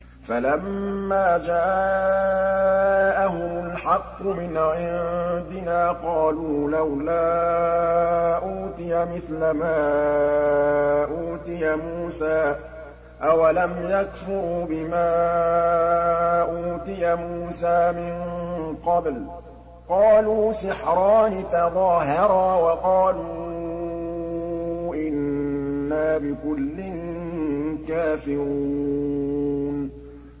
فَلَمَّا جَاءَهُمُ الْحَقُّ مِنْ عِندِنَا قَالُوا لَوْلَا أُوتِيَ مِثْلَ مَا أُوتِيَ مُوسَىٰ ۚ أَوَلَمْ يَكْفُرُوا بِمَا أُوتِيَ مُوسَىٰ مِن قَبْلُ ۖ قَالُوا سِحْرَانِ تَظَاهَرَا وَقَالُوا إِنَّا بِكُلٍّ كَافِرُونَ